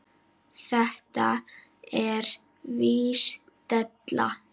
Þetta er víst della.